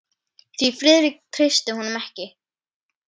Því Friðrik treysti honum ekki.